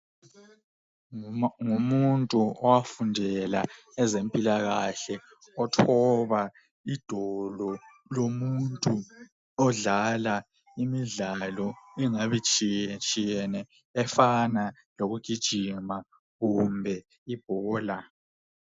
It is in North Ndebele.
Ngumuntu owafundela ezempilakahle othoba idolo lomuntu odlala imidlalo engabe itshiyetshiyene efana lokugijima kumbe ibhola.